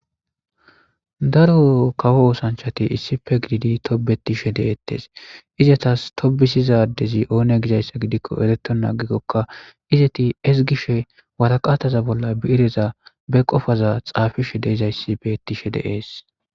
Daro kawo osanchati issippe gididi tobetishe detes izatas tobisida adezi onne giyaba gidiko eretenan agikoka izeti ezgishe woraqata bolla birezan ba qofa xafishe dizayisi betishe dee's